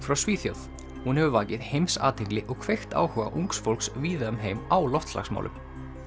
frá Svíþjóð hún hefur vakið heimsathygli og kveikt áhuga ungs fólks víða um heim á loftslagsmálum